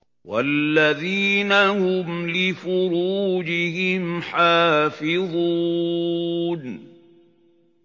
وَالَّذِينَ هُمْ لِفُرُوجِهِمْ حَافِظُونَ